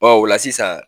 o la sisan